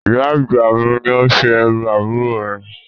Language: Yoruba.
Ìyá àgbà mi ni ó ṣe irú àbúrò mi